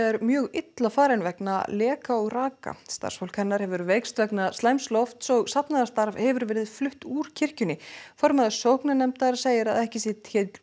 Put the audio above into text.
er mjög illa farin vegna leka og raka starfsfólk hennar hefur veikst vegna slæms lofts og safnaðarstarf hefur verið flutt úr kirkjunni formaður sóknarnefndar segir að ekki sé